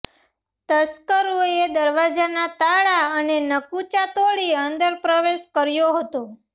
તસ્કરોએ દરવાજાના તાળા અને નકૂચા તોડી અંદર પ્રવેશ કર્યો હતો